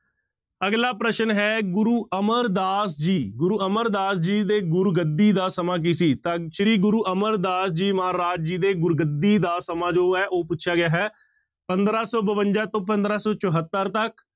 ਅਗਲਾ ਪ੍ਰਸ਼ਨ ਹੈ ਗੁਰੂ ਅਮਰਦਾਸ ਜੀ ਗੁਰੂ ਅਮਰਦਾਸ ਜੀ ਦੇ ਗੁਰਗੱਦੀ ਦਾ ਸਮਾਂ ਕੀ ਸੀ, ਤਾਂ ਸ੍ਰੀ ਗੁਰੂ ਅਮਰਦਾਸ ਜੀ ਮਹਾਰਾਜ ਜੀ ਦੇ ਗੁਰਗੱਦੀ ਦਾ ਸਮਾਂ ਜੋ ਹੈ ਉਹ ਪੁੱਛਿਆ ਗਿਆ ਹੈ, ਪੰਦਰਾਂ ਸੌ ਬਵੰਜਾ ਤੋਂ ਪੰਦਰਾਂ ਸੌ ਚੁਹੱਤਰ ਤੱਕ।